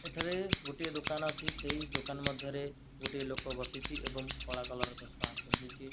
ଏଠାରେ ଗୋଟିଏ ଦୋକାନ ଅଛି ସେଇ ଦୋକାନ ମଧ୍ଯରେ ଗୋଟିଏ ଲୋକ ବସିଛି ଏବଂ କଲା କଲର ଚଷମା ପିନ୍ଧିଛି।